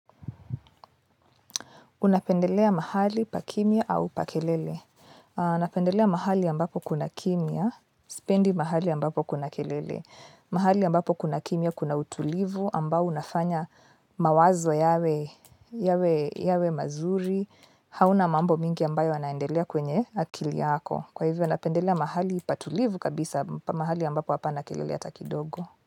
Unapendelea mahali pa kimya au pa kelele. Ninapendelea mahali ambapo kuna kimya, sipendi mahali ambapo kuna kelele. Mahali ambapo kuna kimya kuna utulivu ambao unafanya mawazo yawe mazuri. Hauna mambo mingi ambayo yanaendelea kwenye akili yako. Kwa hivyo napendelea mahali patulivu kabisa mahali ambapo hapana kelele hata kidogo.